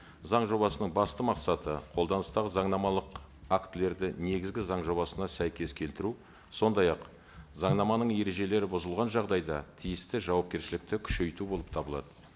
заң жобасының басты мақсаты қолданыстағы заңнамалық актілерді негізгі заң жобасына сәйкес келтіру сондай ақ заңнаманың ережелері бұзылған жағдайда тиісті жауапкершілікті күшейту болып табылады